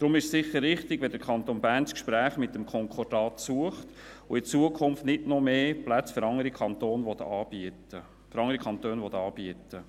Deshalb ist es sicher richtig, wenn der Kanton Bern das Gespräch mit dem Konkordat sucht, und in Zukunft nicht noch mehr Plätze für andere Kantone anbieten will.